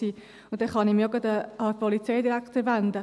Dann kann ich mich auch gleich an den Polizeidirektor wenden: